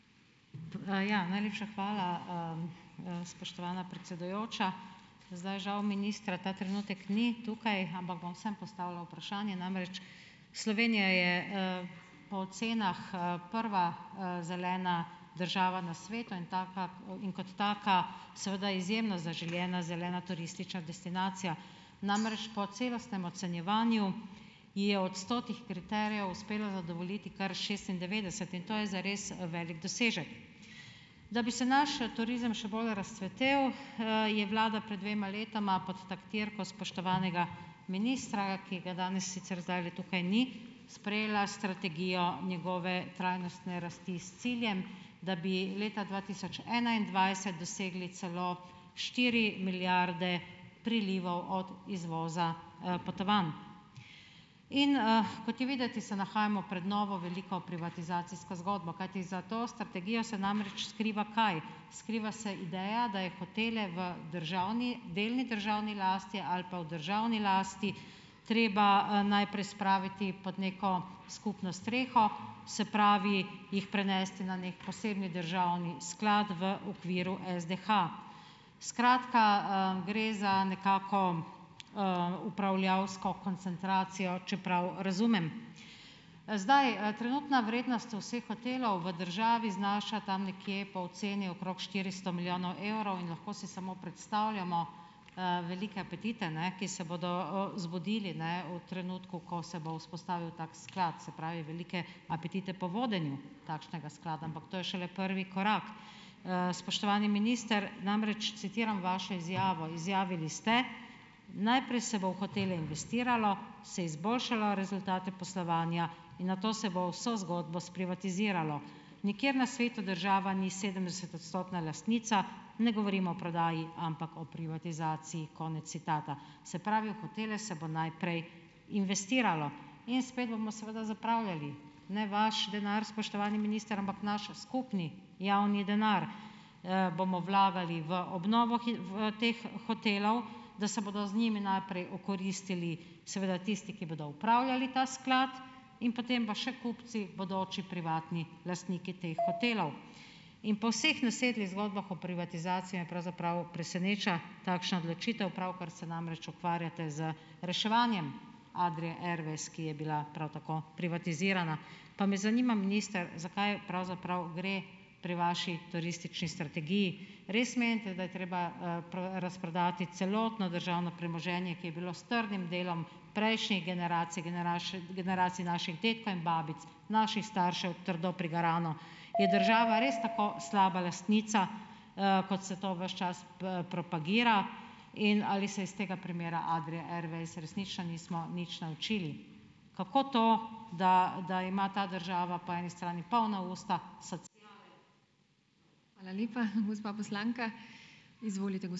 Ja, najlepša hvala, spoštovana predsedujoča. Zdaj žal ministra ta trenutek ni tukaj, ampak bom vseeno postavila vprašanje, namreč Slovenija je, po ocenah, prva, zelena država na svetu in tako in kot taka seveda izjemno zaželena zelena turistična destinacija. Namreč po celostnem ocenjevanju ji je od stotih kriterijev uspelo zadovoljiti kar šestindevetdeset, in to je zares velik dosežek. Da bi se naš, turizem še bolj razcvetel, je vlada pred dvema letoma pod taktirko spoštovanega ministra, ki ga danes sicer zdajle tukaj ni, sprejela strategijo njegove trajnostne rasti s ciljem, da bi leta dva tisoč enaindvajset dosegli celo štiri milijarde prilivov od izvoza, potovanj. In, kot je videti, se nahajamo pred novo veliko privatizacijsko zgodbo, kajti za to strategijo se namreč skriva kaj? Skriva se ideja, da je hotele v državni delni državni lasti ali pa v državni lasti treba, najprej spraviti pod neko skupno streho, se pravi jih prenesti na neki posebni državni sklad v okviru SDH. Skratka, gre za nekako, upravljavsko koncentracijo, če prav razumem. Zdaj, trenutna vrednost vseh hotelov v državi znaša tam nekje po oceni okrog štiristo milijonov evrov in lahko si samo predstavljamo, velike apetite, ne, ki se bodo, zbudili ne v trenutku, ko se bo vzpostavil tako sklad, se pravi velike apetite po vodenju takšnega sklada, ampak to je šele prvi korak. Spoštovani minister, namreč citiram vašo izjavo. Izjavili ste: "Najprej se bo v hotele investiralo, se izboljšalo rezultate poslovanja in nato se bo vso zgodbo sprivatiziralo. Nikjer na svetu država ni sedemdesetodstotna lastnica, ne govorim o prodaji, ampak o privatizaciji." Konec citata. Se pravi, v hotele se bo najprej investiralo in spet bomo seveda zapravljali. Ne vaš denar, spoštovani minister, ampak naš skupni javni denar, bomo vlagali v obnovo v teh hotelov, da se bodo z njimi najprej okoristili seveda tisti, ki bodo upravljali ta sklad, in potem pa še kupci, bodoči privatni lastniki teh hotelov. In po vseh nasedlih zgodbah o privatizaciji, me pravzaprav preseneča takšna odločitev. Pravkar se namreč ukvarjate z reševanjem Adrie Airways, ki je bila prav tako privatizirana. Pa me zanima minister, zakaj pravzaprav gre pri vaši turistični strategiji? Res menite, da je treba, razprodati celotno državno premoženje, ki je bilo s trdim delom prejšnjih generacij, generacij naših dedkov in babic, naših staršev trdo prigarano. Je država res tako slaba lastnica, kot se to ves čas propagira in ali se iz tega primera Adrie Airways resnično nismo nič naučili? Kako to, da da ima ta država po eni strani polna usta ...